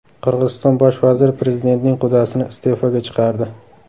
Qirg‘iziston bosh vaziri prezidentning qudasini iste’foga chiqardi.